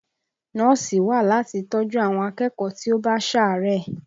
Nọ́ọ̀sì wà láti tọ́ ju àwọn akẹ́kọ̀ọ́ tí ó bá sàárẹ̀